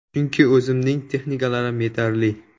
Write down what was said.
Chunki o‘zimning texnikalarim yetarli.